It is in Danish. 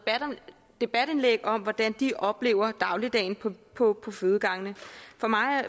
debatindlæg om hvordan de oplever dagligdagen på fødegangene